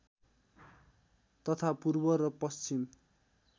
तथा पूर्व र पश्चिम